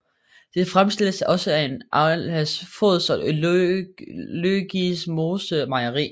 Det fremstilles også af Arla Foods og Løgismose Mejeri